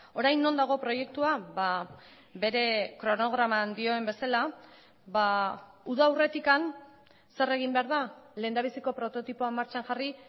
orain non dago proiektua bere kronograman dioen bezala uda aurretik zer egin behar da lehendabiziko prototipoa martxan jarri